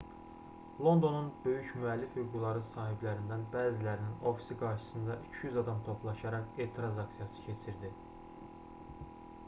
londonun böyük müəllif hüquqları sahiblərindən bəzilərinin ofisi qarşısında 200 adam toplaşaraq etiraz aksiyası keçirdi